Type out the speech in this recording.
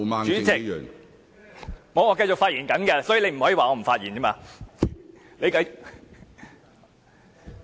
主席，我正在發言，你不可以說我不是在發言。